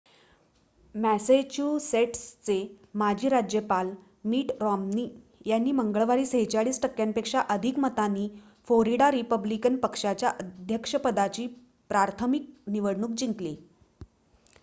मॅसेच्युसेट्सचे माजी राज्यपाल Mitt Romney यांनी मंगळवारी ४६ टक्क्यांपेक्षा अधिक मतांनी फोरिडा रिपब्लिकन पक्षाच्या अध्यक्षपदाची प्राथमिक निवडणूक जिंकली